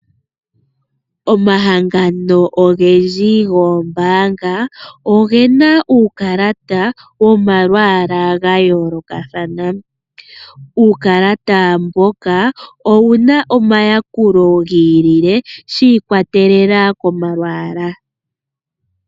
Omahangano ogendji goombaanga ogena uukalata womalwaala ga yoolokathana. Uukalata mbuka owuna oma yakulo gayooloka shi ikwatelela komalwaala.